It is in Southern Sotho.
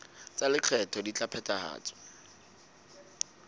tsa lekgetho di ka phethahatswa